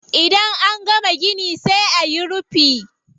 Idan an gama gini sai ayi rufi.